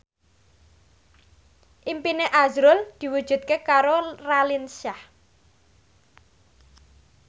impine azrul diwujudke karo Raline Shah